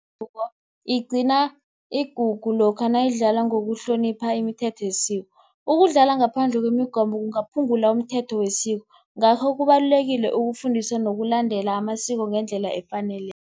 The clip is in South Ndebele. igcina igugu lokha nayidlalwa ngokuhlonipha imithetho yesiko. Ukudlala ngaphandle kwemigomo kungaphungula umthetho wesiko. Ngakho kubalulekile ukufundisa nokulandela amasiko ngendlela efaneleko.